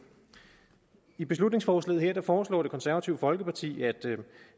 i beslutningsforslaget her foreslår det konservative folkeparti